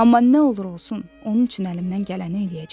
Amma nə olur olsun, onun üçün əlimdən gələni eləyəcəm.